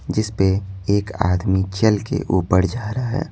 जिस पे एक आदमी चल के ऊपर जा रहा है।